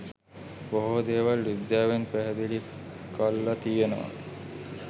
බොහෝ දේවල් විද්‍යාවෙන් පැහැදිලි කල්ල තියෙනව